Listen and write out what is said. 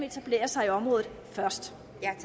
etablere sig i området først